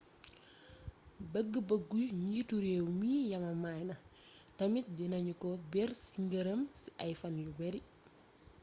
bëgg bëggu njiitu réew mi yamamaay na tamit dina ñu ko bér ci këram ci ay fan yu beeri